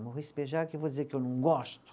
Maurice Bejar, que eu vou dizer que eu não gosto.